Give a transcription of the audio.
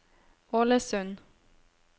Ålesund